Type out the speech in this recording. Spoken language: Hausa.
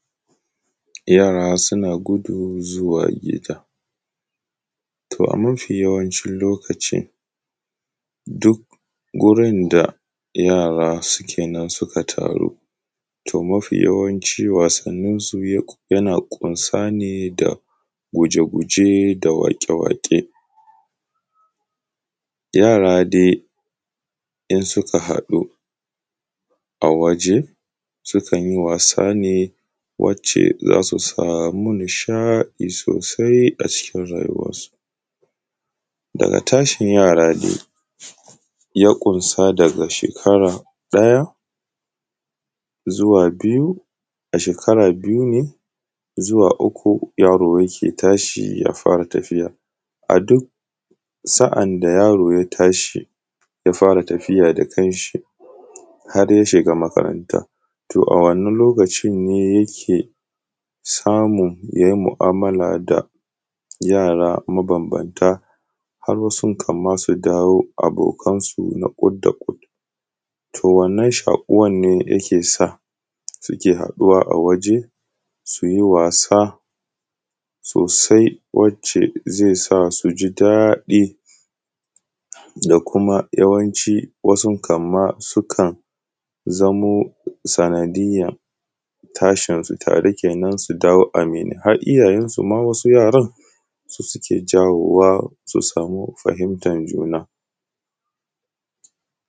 Yara suna gudu zuwa gida. To a mafi yawancin lokaci duk gurin da yara suke nan suka taru, to mafi yawanci wasanninsu yana ƙunsa ne da guje-guje da waƙe-waƙe. Yara dai in suka haɗu a waje, sukan yi wasa ne wacce za su samu nishaɗi sosai acikin rayuwarsu. Daga tashin yara dai ya ƙunsa daga shekara ɗaya zuwa biyu, a shekara biyu ne zuwa uku yaro yake fara tashi ya fara tafiya. A duk sa’an da yaro ya tashi ya fara tafiya da kanshi har ya shiga makaranta, to a wannan lokacin ne yake samun ya yi mu’amala da yara mabambanta, har wasu kan ma su dawo abokansu na ƙut da ƙut. To wannan shaƙuwan ne yake sa suke haɗuwa a waje suyi wasa sosai wacce zai sa su ji daɗi, da kuma yawanci, wasun kan ma zamo sanadiyan tashinsu tare kenan su dawo aminai, har iyayensu ma wasu yaran, su suke jawo wa su samu fahimtan juna.